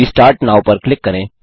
restart now पर click करें